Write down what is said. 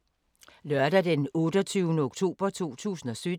Lørdag d. 28. oktober 2017